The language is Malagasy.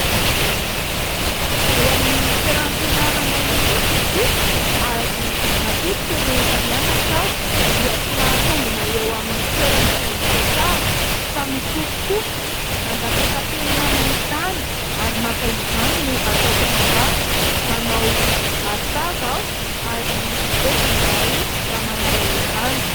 Eo amin'ny toeram-pianaranay mihitsy ity. Ary matetika rehefa mianatra aho dia tsy mahatombona eo amin'ny toerana izay hipetrahako fa mikofokofoka mandatsaka penina amin'ny tany ary maka izany no ataoko raharaha. Manao arotava aho, ary bedy izahay raha manala izany.